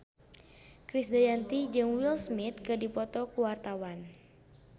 Krisdayanti jeung Will Smith keur dipoto ku wartawan